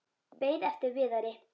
Beið eftir Viðari.